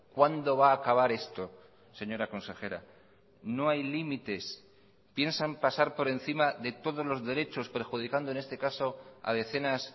cuándo va a acabar esto señora consejera no hay límites piensan pasar por encima de todos los derechos perjudicando en este caso a decenas